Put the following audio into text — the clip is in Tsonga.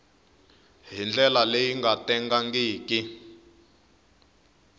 hi ndlela leyi nga tengangiki